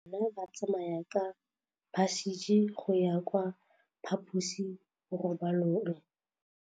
Bana ba tsamaya ka phašitshe go ya kwa phaposiborobalong.